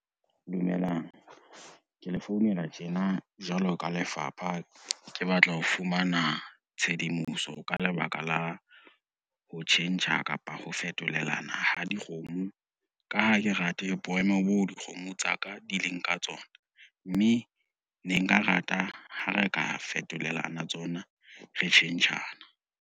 Dumelang, ke le founela tjena jwalo ka lefapha, ke batla ho fumana tshedimoso ka lebaka la ho tjhentjha kapa ho fetolelana ha dikgomo, ka ha ke rate boemo bo dikgomo tsa ka di leng ka tsona, mme ne nka rata ha re ka fetolelana tsona re tjhentjhana.